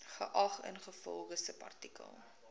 geag ingevolge subartikel